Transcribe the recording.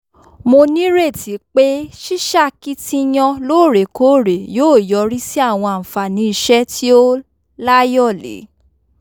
mo nírètí pé ṣíṣakitiyan lóòrèkóòrè yóò yọrí sí àwọn àǹfààní iṣẹ́ tí ó láyọ̀lé